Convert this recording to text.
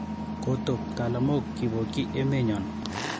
Koto ptalamook kopokyi emenyon